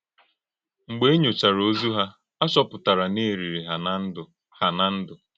Mgbe e nyọ̀chàrā òzù hà, à chọ̀pụ̀tàrà na e lìrì hà ná ndú. hà ná ndú.